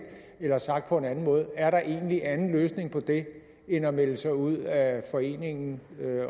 eller sagt på en anden måde er der egentlig anden løsning på det end at melde sig ud af foreningen